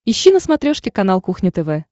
ищи на смотрешке канал кухня тв